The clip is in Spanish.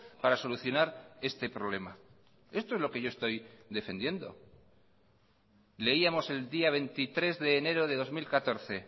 para solucionar este problema esto es lo que yo estoy defendiendo leíamos el día veintitrés de enero de dos mil catorce